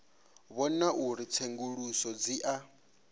vhona uri tsenguluso dzi a